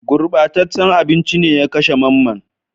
Gurɓataccen abinci ne ya kashe Mamman